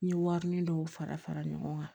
N ye warini dɔw fara fara ɲɔgɔn kan